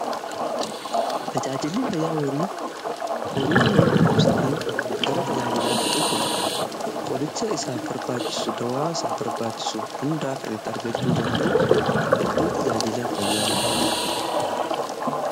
Tajaajilli fayyaa horii horiin yoo dhukkubsatee gara tajaajilaatti dhufu , qoricha isaaf barbaachisu, dawaa isaaf barbaachisu hundaa kan itti argachuu danda'u iddoo tajaajilaa fayyaa horiitiitti.